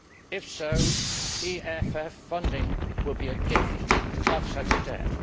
If so, EFF funding will be a gift to offset a debt.